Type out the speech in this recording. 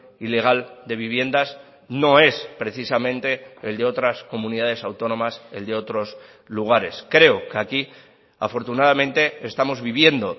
ilegal de viviendas no es precisamente el de otras comunidades autónomas el de otros lugares creo que aquí afortunadamente estamos viviendo